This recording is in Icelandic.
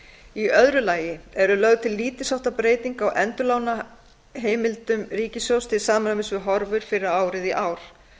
í öðru lagi er lögð til lítils háttar breyting á endurlánaheimildum ríkissjóðs til samræmis við horfur fyrir árið í ár